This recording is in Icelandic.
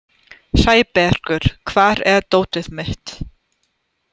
Sæbergur, hvar er dótið mitt?